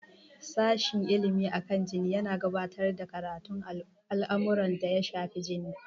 Sashen Ilimi akan jini yana gabatar da karatun al'amuran da ya shafi jini.